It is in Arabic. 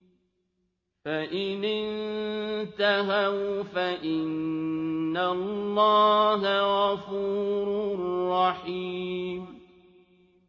فَإِنِ انتَهَوْا فَإِنَّ اللَّهَ غَفُورٌ رَّحِيمٌ